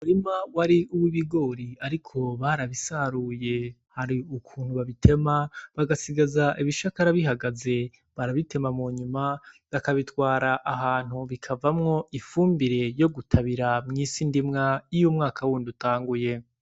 Umurima wari uwibigori ariko barabisaruye. Hari ukuntu babitema bagasigaza ibishakara bihagaze. Barabitema munyuma bakabitwara ahantu bikavamwo ifumbire yogutabira mw'isindimwa y’umwaka w’undi utanguye.